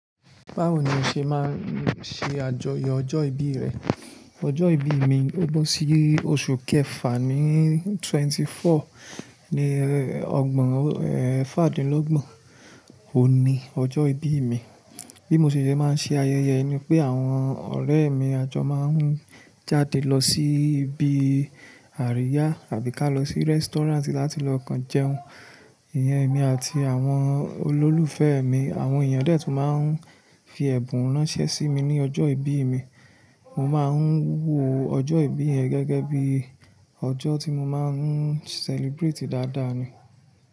Báwo ni o ṣe máa ń ṣe àjọyọ̀ ọjọ́ ìbí rẹ? Ọjọ́ ìbí mi, ó bọ́ sí oṣù kẹfà ní twenty four, ní ọgbọ̀n, eeh fáàdínlọ́gbọ̀n. Ó ni ọjọ́ ìbí mi. Bí mo ṣe máa ń ṣe ayẹyẹ ẹ ni pé àwọn ọ̀rẹ́ mi àjọ máa ń jáde lọ sí ibi àríyá àbí ká lọ sí restaurant láti lọ kán jẹun. Ìyá mi àti àwọn olólùfẹ́ mi, àwọn èèyàn dẹ̀ tún máa ń fi ẹ̀bùn ránṣẹ́ sí mi ní ọjọ́ ìbí mi. Mo máa ń wo ọjọ́ ìbí yẹn gẹ́gẹ́ bí ọjọ́ tí mo máa ń celebrate dáadáa ni.